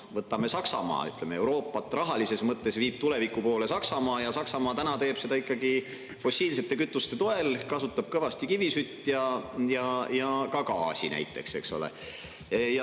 Võtame Saksamaa: Euroopat rahalises mõttes võttes viib tuleviku poole Saksamaa, ja Saksamaa teeb seda ikkagi fossiilsete kütuste toel, kasutab kõvasti kivisütt ja ka gaasi näiteks.